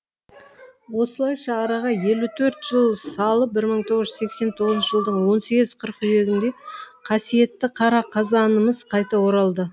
осылайша араға елу төрт жыл салып бір мың тоғыз жүз сексен тоғызыншы жылдың он сегіз қыркүйегінде қасиетті қара қазанымыз қайта оралды